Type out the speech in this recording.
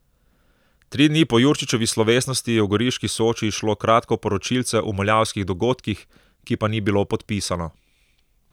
Tri dni po Jurčičevi slovesnosti je v goriški Soči izšlo kratko poročilce o muljavskih dogodkih, ki pa ni bilo podpisano.